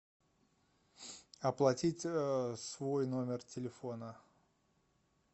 оплатить свой номер телефона